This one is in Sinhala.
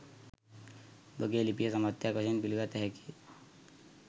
උඹගේ ලිපිය සමස්තයක් වශයෙන් පිළිගත හැකිය